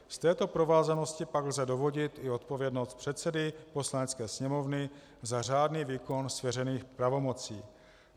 Z této provázanosti pak lze dovodit i odpovědnost předsedy Poslanecké sněmovny za řádný výkon svěřených pravomocí.